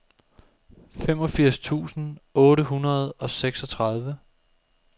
femogfirs tusind otte hundrede og seksogtredive